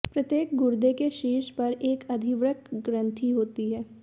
प्रत्येक गुर्दे के शीर्ष पर एक अधिवृक्क ग्रंथि होती है